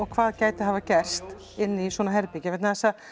hvað gæti hafa gerst inni í svona herbergi vegna þess að